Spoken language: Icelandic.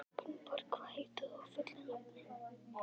Gunnborg, hvað heitir þú fullu nafni?